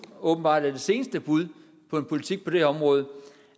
åbenbart er det seneste bud på en politik på det område